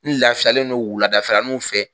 N lafiyalen don wuladaninw fɛ!